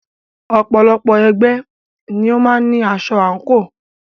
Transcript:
Ọ̀pọ̀lọpọ̀ ẹgbẹ́ ni ó máa ń ní aṣọ àǹkò.